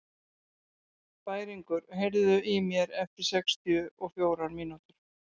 Bæringur, heyrðu í mér eftir sextíu og fjórar mínútur.